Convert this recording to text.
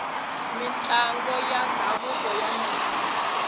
mintlango ya ndhavuko ya nandzika